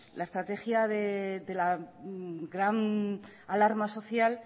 la estrategia de la gran alarma social